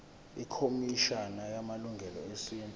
ikhomishana yamalungelo esintu